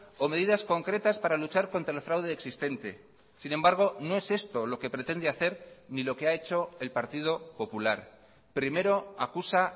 o medidas concretas para luchar contra el fraude existente sin embargo no es esto lo que pretende hacer ni lo que ha hecho el partido popular primero acusa